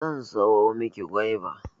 Zan siyo maki goiba